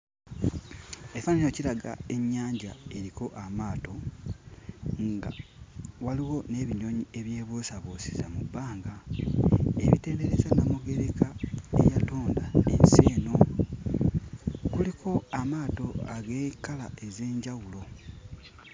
Ekifaananyi kino kiraga ennyanja eriko amaato nga waliwo n'ebinyonyi ebyebuusabuusiza mu bbanga ebitendereza nnamugereka eyatonda ensi eno kuliko amaato ag'ekkala ez'enjawulo.